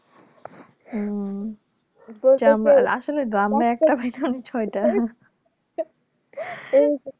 হম আসলে গ্রামে একটা বাড়িতে ছয়টা